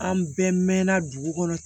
An bɛɛ mɛnna dugu kɔnɔ